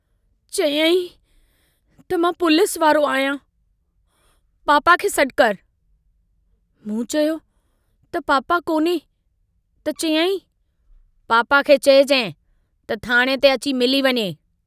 चयाईं त मां पुलिस वारो आहियां... पापा खे सडु कर... मूं चयो त पापा कोन्हे त चयाईं... पापा खे चइजांइ त थाणे ते अची मिली वञे।